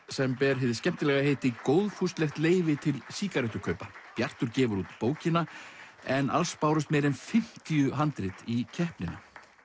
sem ber hið skemmtilega heiti góðfúslegt leyfi til sígarettukaupa bjartur gefur út bókina en alls bárust meira en fimmtíu handrit í keppnina